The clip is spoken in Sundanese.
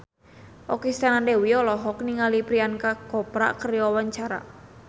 Okky Setiana Dewi olohok ningali Priyanka Chopra keur diwawancara